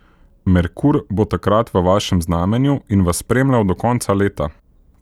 Merkur bo takrat v vašem znamenju in vas spremljal do konca leta.